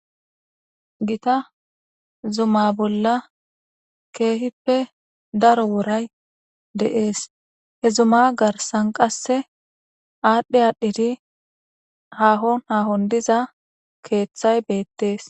Gita zuma bollan kehippe daro woray de'es. He zuma garsan qasse aadhi aadhidi diza keethay beetes.